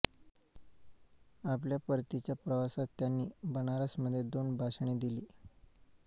आपल्या परतीच्या प्रवासात त्यांनी बनारसमध्ये दोन भाषणे दिली